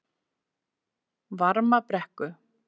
Varmabrekku